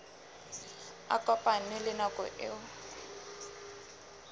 a kopane le nako eo